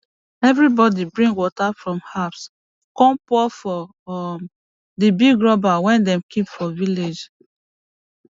everybody bring water from house come pour for um the big rubber wey dem keep for village